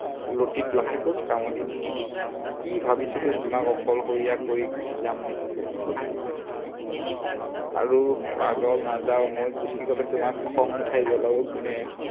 লতিত লাহেকৈ কামুৰি দিছে। কি ভাবিছিলো তোমাক অকলশৰীয়া কৰি গুচি যাম নেকি? আৰু পাগল নাযাওঁ, মই গুচি গলে তোমাক খং উঠাই জ্বলাব কোনে?